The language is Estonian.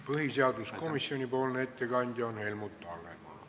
Põhiseaduskomisjoni ettekandja on Helmut Hallemaa.